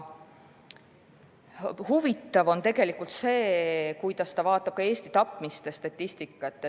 " Huvitav on see, kuidas ta analüüsib Eesti tapmiste statistikat.